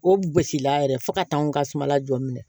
O gosili la yɛrɛ fo ka taa anw ka sumala jɔ minɛ